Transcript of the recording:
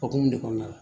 Hokumu de kɔnɔna la